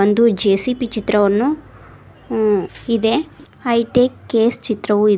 ಒಂದು ಜೆ_ಸಿ_ಬಿ ಚಿತ್ರವನ್ನು ಊ ಇದೆ ಹೈಟೆಕ್ ಕೇಸ್ ಚಿತ್ರವು ಇದ್--